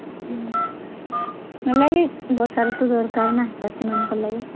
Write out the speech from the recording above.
ହେଲେ ବି ବର୍ଷା ରୁତୁ ଦରକାର୍ ନା ଚାଷୀ ମାନଂକ ଲାଗି